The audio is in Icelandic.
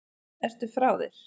Ertu frá þér??